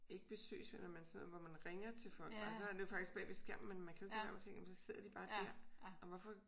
Ikke besøgsvenner men sådan noget hvor man ringer til folk og så er det jo faktisk bag ved skærmen men man kan jo ikke lade være med at tænke jamen så sidder de bare dér og hvorfor